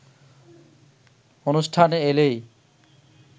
অনুষ্ঠানে এলেই